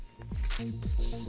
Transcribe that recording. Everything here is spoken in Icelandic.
í